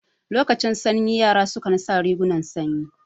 Lokacin sanyi yara su kan sa rigunan sanyi